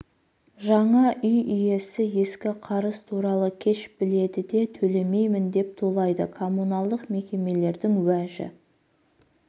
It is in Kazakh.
жаңа үй иесі ескі қарыз туралы кеш біледі біледі де төлемеймін деп тулайды коммуналдық мекемелердің уәжі